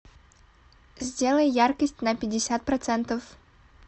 сделай яркость на пятьдесят процентов